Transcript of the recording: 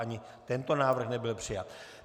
Ani tento návrh nebyl přijat.